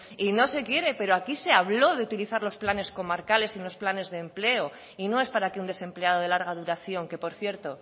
y no se quiere pero aquí se habló de utilizar los planes comarcales y los planes de empleo y no es para que un desempleado de larga duración que por cierto